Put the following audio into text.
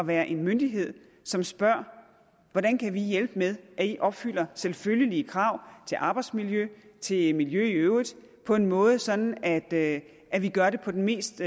være en myndighed som spørger hvordan kan vi hjælpe med at i opfylder selvfølgelige krav til arbejdsmiljøet til miljø i øvrigt på en måde sådan at at vi gør det på den mest